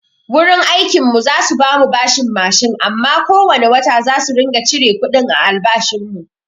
Wurin aikin mu za su bamu bashin mashin amma ko wane wata zasu ringa cire kuɗin a albashin mu.